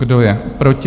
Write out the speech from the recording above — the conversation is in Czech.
Kdo je proti?